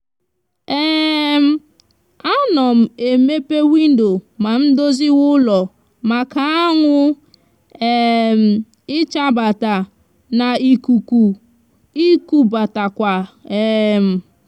um a no m emepe windo ma ndoziwe ulo maka awu um ichabata na ikuku ikubatakwa um